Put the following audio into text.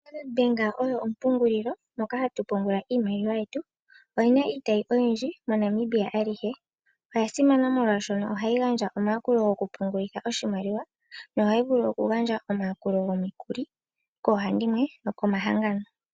Standard bank oyo ompungulilo moka hatu pungula iimaliwa yetu oyina iitayi oyindji mo Namibia alihe oya simana molwaashono ohayi gandja omayakulo gwoku pungulitha oshimaliwa no hayi vulu wo oku gandja omayakulo gwomikuli koohandimwe nokomahanganoo.